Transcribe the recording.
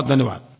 बहुत धन्यवाद